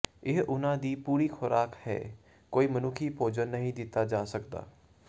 ਇਹ ਉਹਨਾਂ ਦੀ ਪੂਰੀ ਖ਼ੁਰਾਕ ਹੈ ਕੋਈ ਮਨੁੱਖੀ ਭੋਜਨ ਨਹੀਂ ਦਿੱਤਾ ਜਾ ਸਕਦਾ